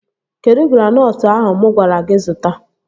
Kedụ granọtụ ahụ mụ gwara gị zụta?